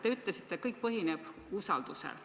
Te ütlesite, et kõik põhineb usaldusel.